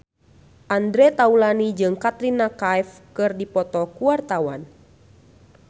Andre Taulany jeung Katrina Kaif keur dipoto ku wartawan